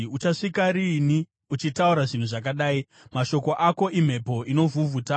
“Uchasvika riini uchitaura zvinhu zvakadai? Mashoko ako imhepo inovhuvhuta.